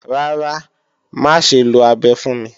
Rárá, má ṣe lo abẹ fún mi